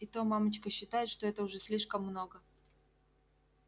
и то мамочка считает что это уже слишком много